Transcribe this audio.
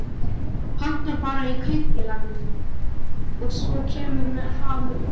Pantar bara í kaupfélaginu og svo kemur það með póstinum?